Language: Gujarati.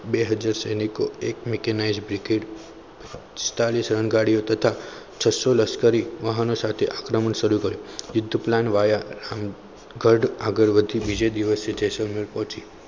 બે હાજર સૈનિકો એક mikenize હેઠળ પિસ્તાલીસ સ્વયં ગાડીઓ તથા છસ્સો લશ્કરી વાહનો સાથે આક્રમણ શરૂ કર્યું યુદ્ધમાં plane વાયા આગળ બીજા દિવસે જેસલમેર પહોંચી.